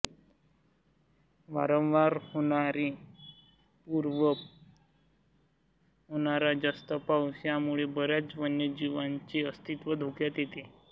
वारंवार येणारे पूर व होणारा जास्त पाऊस यामुळे बऱ्याच वन्य जीवांचे अस्तित्व धोक्यात येते